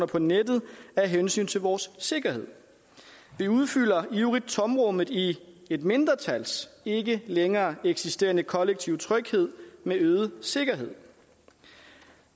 på nettet af hensyn til vores sikkerhed vi udfylder ivrigt tomrummet i et mindretals ikke længere eksisterende kollektive tryghed med øget sikkerhed